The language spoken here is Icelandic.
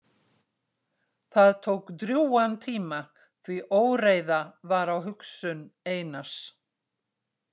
Það tók drjúgan tíma því óreiða var á hugsun Einars.